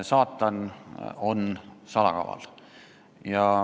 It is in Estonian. Saatan on salakaval.